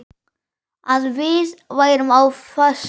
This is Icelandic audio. Að við værum á föstu.